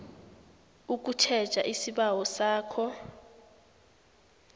ukutjheja isibawo sakho